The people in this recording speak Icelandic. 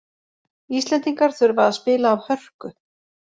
Íslendingar þurfa að spila af hörku